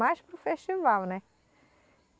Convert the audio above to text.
Mais para o festival, né?